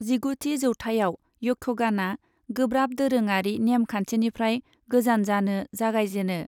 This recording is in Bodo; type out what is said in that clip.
जिगुथि जौथाइयाव यक्षगानआ गोब्राब दोरोङारि नेम खान्थिनिफ्राय गोजान जानो जागायजेनो।